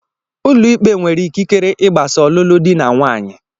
Ụlọikpe nwere ikikere igbasa ọlụlụ dị na nwaanyị